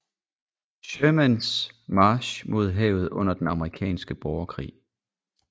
Shermans march mod havet under den amerikanske borgerkrig